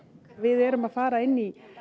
við erum að fara inn í